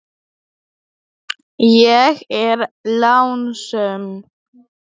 Ég er lánsöm.